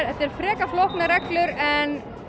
þetta eru frekar flóknar reglur en